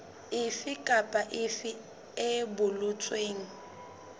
efe kapa efe e boletsweng